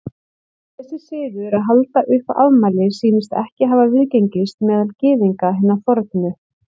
Þessi siður að halda upp á afmæli sýnist ekki hafa viðgengist meðal Gyðinga hinna fornu.